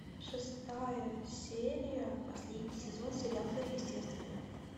шестая серия последний сезон сериал сверхъестественное